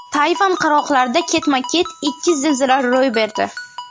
Tayvan qirg‘oqlarida ketma-ket ikki zilzila ro‘y berdi.